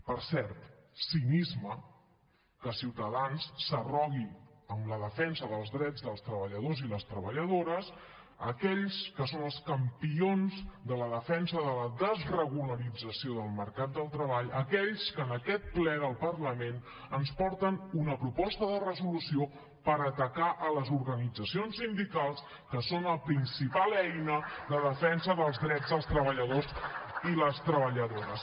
per cert cinisme que ciutadans s’arrogui la defensa dels drets dels treballadors i les treballadores aquells que són els campions de la defensa de la desregularització del mercat del treball aquells que en aquest ple del parlament ens porten una proposta de resolució per atacar les organitzacions sindicals que són la principal eina de defensa dels drets dels treballadors i les treballadores